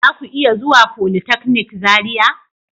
Zaku iya zuwa folytechnic Zaria.